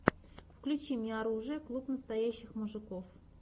включи мне оружие клуб настоящих мужиков